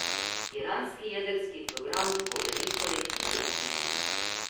Iranski jedrski program bo veliko let zelo omejen.